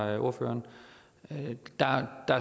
af ordføreren der er